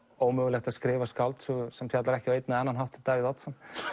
ómögulegt að skrifa skáldsögu sem fjallar ekki á einn eða annan hátt um Davíð Oddsson